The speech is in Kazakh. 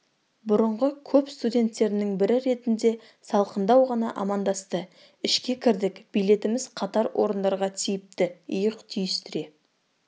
бұрынғы көп студенттерінің бірі ретінде салқындау ғана амандасты ішке кірдік билетіміз қатар орындарға тиіпті иық түйістіре